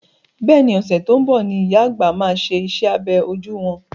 Bẹ́ẹ̀ni, ọ̀sẹ̀ tó ń bọ̀ ni ìyá àgbà máa ṣe iṣẹ́ abẹ ojú wọn.